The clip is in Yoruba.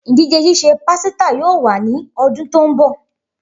Idije sise pasita yoo wa ni ọdun to nbọ.